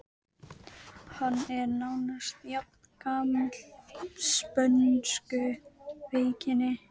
Hann er nánast jafngamall spönsku veikinni.